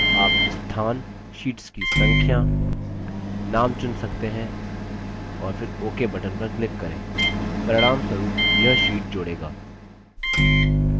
आप स्थान शीट्स की संख्या name चुन सकते हैं और फिर ok button पर click करें परिणामस्वरूप यह sheets जोड़ेगा